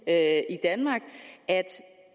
at